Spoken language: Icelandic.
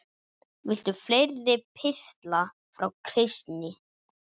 Viltu fleiri pistla frá Kristni?